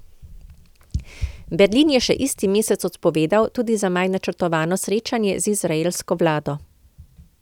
Berlin je še isti mesec odpovedal tudi za maj načrtovano srečanje z izraelsko vlado.